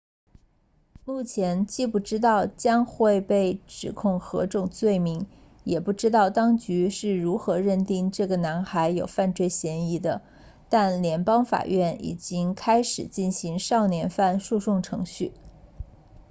目前既不知道将会被指控何种罪名也不知道当局是如何认定这个男孩有犯罪嫌疑的但联邦法院已经开始进行少年犯诉讼程序